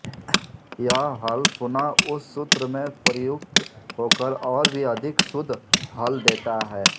यह हल पुनः उस सूत्र में प्रयुक्त होकर और भी अधिक शुद्ध हल देता है